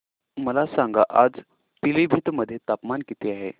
मला सांगा आज पिलीभीत मध्ये तापमान किती आहे